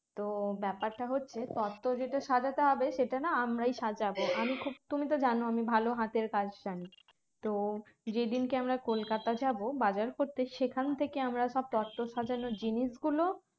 তো ব্যাপারটা হচ্ছে তত্ত্ব যেটা সাজাতে হবে সেটা না আমরাই সাজাবো আমি খুব তুমি তো যেন আমি খুব ভালো হাতের কাজ জানি তো যেই দিনকে আমরা কলকাতাতে যাবো বাজার করতে সেখান থেকে আমরা সব তত্ত্ব সাজানোর জিনিস গুলো